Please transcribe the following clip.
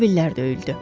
Təbillər döyüldü.